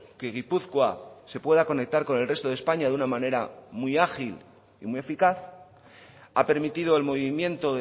que gipuzkoa se pueda conectar con el resto de españa de una manera muy ágil y muy eficaz ha permitido el movimiento